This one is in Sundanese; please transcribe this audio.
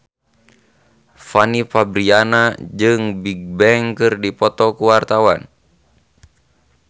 Fanny Fabriana jeung Bigbang keur dipoto ku wartawan